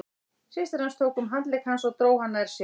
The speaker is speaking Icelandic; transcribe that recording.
Systir hans tók um handlegg hans og dró hann nær sér.